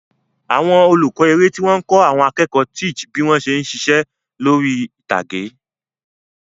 Àwọn olùkọ́ eré tí wọ́n ń kọ́ àwọn akẹ́kọ̀ọ́ teac bí wọ́n ṣe ń ṣiṣẹ́ lórí ìtàgé.